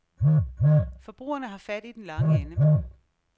Forbrugerne har fat i den lange ende.